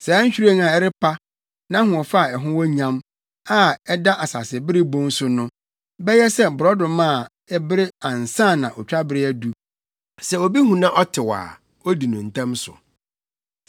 Saa nhwiren a ɛrepa, nʼahoɔfɛ a ɛho wɔ nyam, a ɛda asasebere bon so no, bɛyɛ sɛ borɔdɔma a ɛbere ansa na otwabere adu, sɛ obi hu na ɔte a odi no ntɛm so.